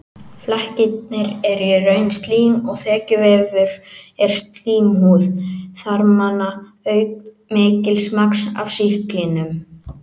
Flekkirnir eru í raun slím og þekjuvefur úr slímhúð þarmanna auk mikils magns af sýklinum.